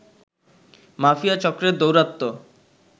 mafia চক্রের দৌরাত্ম